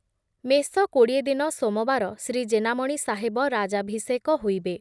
ମେଷ କୋଡ଼ିଏ ଦିନ ସୋମବାର ଶ୍ରୀ ଜେନାମଣି ସାହେବ ରାଜାଭିଷେକ ହୋଇବେ ।